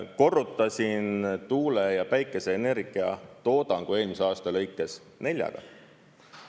Korrutasin tuule- ja päikeseenergia toodangu eelmise aasta lõikes neljaga.